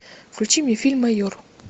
включи мне фильм майор